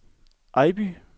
Ejby